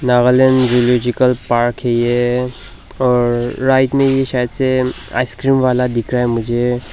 Nagaland zoological park है ये और राइट में ही शायद से आइसक्रीम वाला दिख रहा है मुझे।